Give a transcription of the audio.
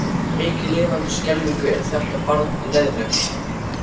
Mikið lifandis skelfing er þetta barn leiðinlegt.